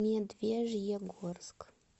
медвежьегорск